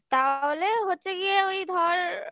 তাহলে হচ্ছে গিয়ে ওই ধর